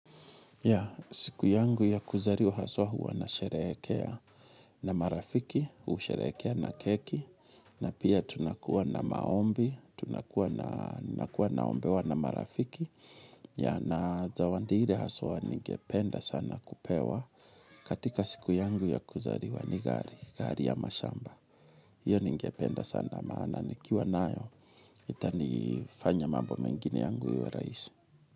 Ya, siku yangu ya kuzaliwa haswa huwa nasherehekea na marafiki, husherekea na keki, na pia tunakuwa na maombi, tunakuwa nakuwa naombewa na marafiki, ya na zawadi ile haswa ningependa sana kupewa katika siku yangu ya kuzaliwa ni gari, gari ama shamba. Iyo ningependa sana maana, nikiwa nayo, itanifanya mambo mengine yangu iwe rahisi.